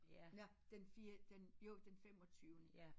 Ja den fire den jo den femogtyvende